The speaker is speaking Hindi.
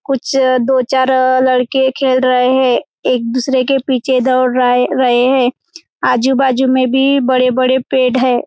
कुछ दो-चार लड़के खेल रहे है एक-दूसरे के पीछे दौड़ रहा हैं रहे हैं आजू-बाजू में भी बड़े-बड़े पेड़ हैं।